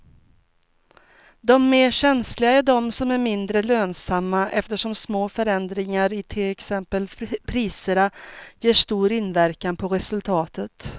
De mer känsliga är de som är mindre lönsamma eftersom små förändringar i till exempel priserna ger stor inverkan på resultatet.